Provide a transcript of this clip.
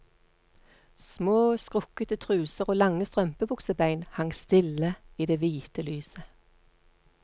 Små, skrukkete truser og lange strømpebuksebein hang stille i det hvite lyset.